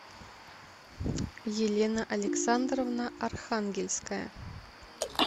елена александровна архангельская